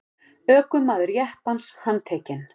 Ökumaður jeppans handtekinn